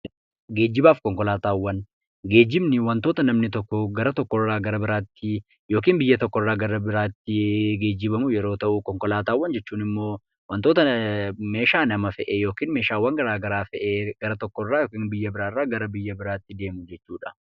Geejjibaaf fi konkolaataawwan: Geejjibni wantoota namani tokko gara tokkoo gara biraatti yookiin biyya tokkoo gara biyya biraatti geejjibamu yeroo ta'uu; konkolaataawwan immoo meeshaawwan garaa garaa fe'ee biyya tokko irraa biyya biraatti geessuudha.